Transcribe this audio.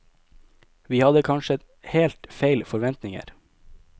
Vi hadde kanskje helt feil forventninger.